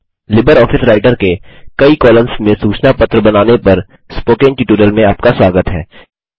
LibreOffice Writer के कई columns में सूचना पत्र बनाने पर स्पोकन ट्यूटोरियल में आपका स्वागत है